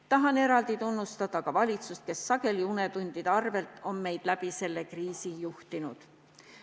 Tahan eraldi tunnustada ka valitsust, kes sageli unetundide arvel on meid läbi selle kriisi juhtinud.